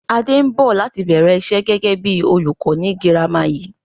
Adé ń bọ̀ láti bẹ̀rẹ̀ ìṣe gẹ́gẹ́ bí olùkọ́ ni girama yìí